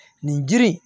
Nin jiri